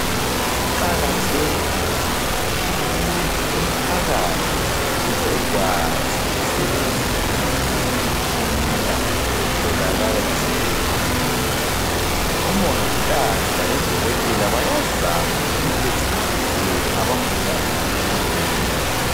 Kuqakathekile ukuthi umphakathi ubekwazi ukusebenzisa eminye imitshina etholakala esibhedlela. Omongikazi labodokotela bayazama ukuthi bechasisele abagulayo ngemtshina leyo.